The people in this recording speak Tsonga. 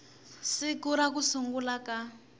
siku ra ku sungula ka